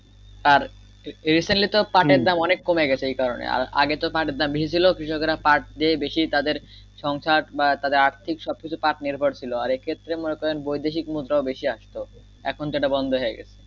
আর recently তো পাঠের দাম অনেক কমে গেছে এই কারণে আগে পাঠের দাম বেশি ছিলো কৃষকেরা পাঠ দিয়ে বেশি তাদের সংসার বা তাদের আর্থীক সব কিছু পাঠ নির্ভর ছিলো সে ক্ষেত্রে বৈদেশিক মুদ্রাও বেশি আসতো এখন যেটা বন্ধ হয়ে গেছে।